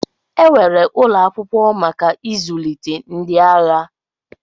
Enwere ụlọ akwụkwọ maka izụlite ndi agha.